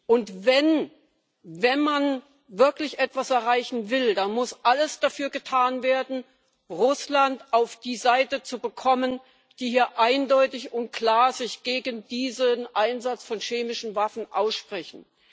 Und wenn wenn man wirklich etwas erreichen will, dann muss alles dafür getan werden, Russland auf die Seite derer zu bekommen, die sich hier eindeutig und klar gegen diesen Einsatz von chemischen Waffen aussprechen.